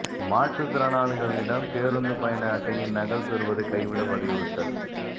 மாற்றுத் திறனாளிகளிடம் பேருந்து பயண அட்டையின் நகல் பெறுவதை கைவிட வலியுறுத்தல்